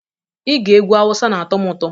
Ige egwu Hausa na-atọ m ụtọ